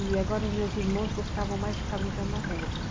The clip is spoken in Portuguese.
E agora meus irmãos gostavam mais de ficar brincando na rua.